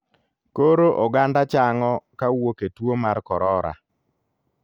Koro oganda chang'o kawuok e tuo mar korora.